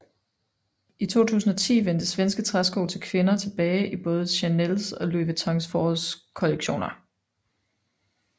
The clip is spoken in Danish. I 2010 vendte svenske træsko til kvindertilbage i både Chanels og Louis Vuittons forårkollektioner